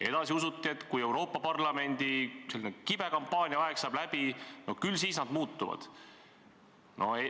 Edasi usuti, et kui Euroopa Parlamendi kampaania kibe aeg saab läbi, no küll siis nad muutuvad.